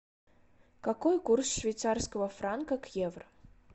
какой курс швейцарского франка к евро